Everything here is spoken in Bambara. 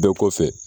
Bɛɛ kɔfɛ